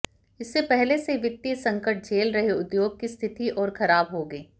इससे पहले से वित्तीय संकट झेल रहे उद्योग की स्थिति और खराब होगी